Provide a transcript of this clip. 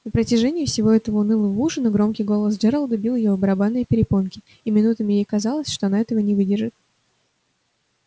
на протяжении всего этого унылого ужина громкий голос джералда бил в её барабанные перепонки и минутами ей казалось что она этого не выдержит